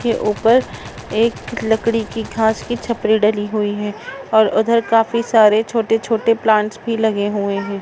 --के ऊपर एक लकड़ी की घास की छपरी डली हुई है और उधर काफी सारे छोटे छोटे प्लान्ट्स भी लगे हुए है।